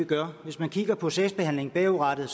gør hvis man kigger på sagsbehandlingen bagudrettet